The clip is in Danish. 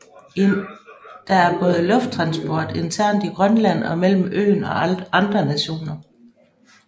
Der er både lufttransport internt i Grønland og mellem øen og andre nationer